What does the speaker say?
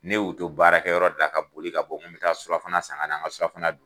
Ne y'u to baarakɛ yɔrɔ de la ka boli ka bɔ ko n bɛ taa surafana san ka na ka n ka surafana dun.